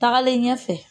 Tagalen ɲɛfɛ